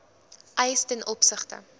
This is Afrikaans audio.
eis ten opsigte